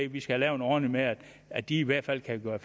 at vi skal lave en ordning med at de i hvert fald kan gøre